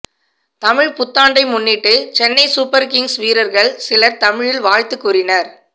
தமிழ் புத்தாண்டை முன்னிட்டு Chennai super kings வீரர்கள் சிலர் தமிழில் வாழ்த்து கூறினர்